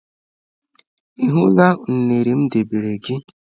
Ị hụla unere m debere gị?